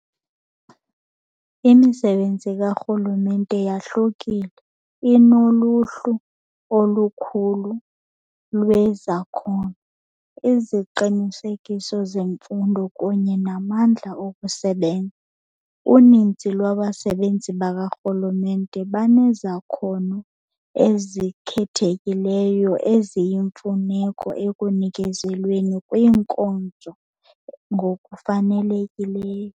Imisebenzi karhulumente yahlukile, inoluhlu olukhulu lwezakhono, iziqinisekiso zemfundo kunye namandla okusebenza. Uninzi lwabasebenzi bakarhulumente banezakhono ezikhethekileyo eziyimfuneko ekunikezelweni kwiinkonzo ngokufanelekileyo.